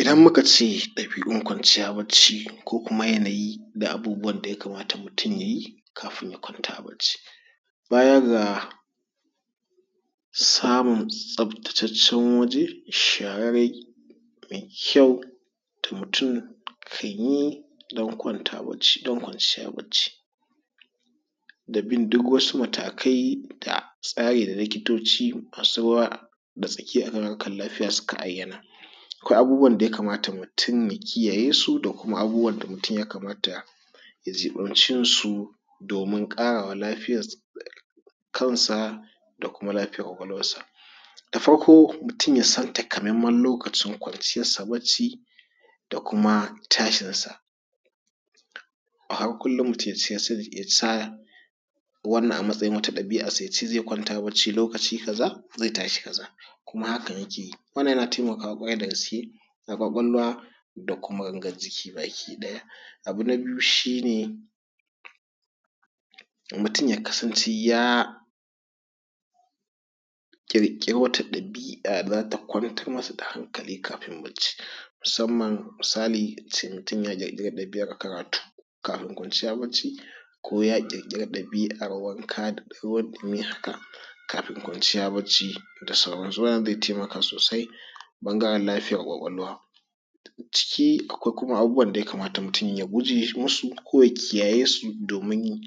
Idan muka ce ɗabi’un kwanciya bacci kokuma yanayi da abubuwan da ya kamata mutum ya yi kafin ya kwanta bacci, baya ga samun tsabtataccen waje, shararre mai kyau da mutum kan yi don kwanta don kwanciya bacci da bin duk wasu matakai da tsari da likitoci masu ruwa da tsaki akan harkan lafiya suka ayyana. Akwai abubuwan da ya kamata mutum ya kiyaye su da kuma abubuwan da mutum ya kamata ya jiɓance su domin ƙarawa lafiya kan sa da kuma lafiyar ƙwaƙwalwar sa. Da farko mutum ya san takamaiman lokacin kwanciyar sa bacci da kuma tashin sa. A har kullum mutum ya sa wannan a matsayin wata ɗabi’ar sa ya sa zai kwanta bacci lokaci kaza zai tashi lokaci kaza kuma hakan ya ke yi. Wannan yana taimakawa ƙwarai da gaske da ƙwaƙwalwa da kuma gangar jiki baki ɗaya. Abu na biyu shi ne mutum ya kasance ya ƙirƙiri wata ɗabi’a da za ta kwantar masa da hankali kafin bacci, musamman misali a ce mutun ya ƙirƙire ɗabi’ar karatu kafin kwanciya bacci ko ya ƙirƙire ɗabi’ar wanka da ruwan ɗumi haka kafin kwanciya bacci da sauran su, wannan zai taimaka sosai ta ɓangaren lafiyar ƙwaƙwalwa. A ciki akwai kuma abubuwan da ya kamata mutum ya guje masu ko ya kiyaye su domin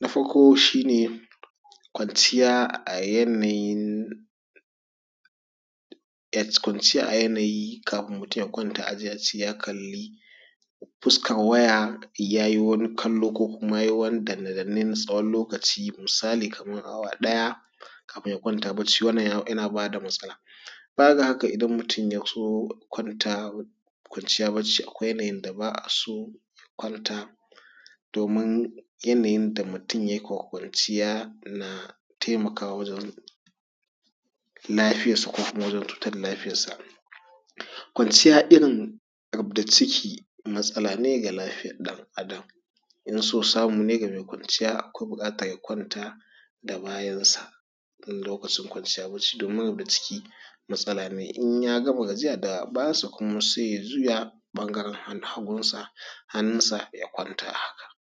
na farko shi ne kwanciya a yanayin yes kwanciya a yanayi kafin mutum ya kwanta a je a ce mutum ya kalli fuskar waya ya yi wani kallo ko kuma ya yi wani danne-danne na tsawon lokaci misali kamarna awa ɗaya kafin ya kwanta bacci wannan yana bada matsala. Baya ga haka idan mutum ya zo kwanta kwanciya bacci akwai yanayin da ba a so ya kwanta domin yanayin da mutum ya ke kwanciya yana taimakawa wajen lafiyar sa ko kuma wajen cutar da lafiyar sa. Kwanciya irin rub-da-ciki matsala ne ga lafiya ɗan’adam in so samu ne ga mai kwanciya akwai buƙatar ya kwanta da bayan sa in lokacin kwanciya bacci domin rub-da-ciki matsala ne in y agama gajiya da bayan sa kuma sai ya juya ɓangaren hannun hagun sa hannun sa ya kwanta.